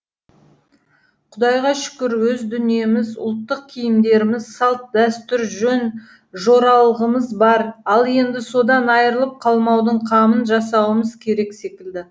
құдайға шүкір өз дүниеміз ұлттық киімдеріміз салт дәстүр жөн жоралғымыз бар ал енді содан айырылып қалмаудың қамын жасауымыз керек секілді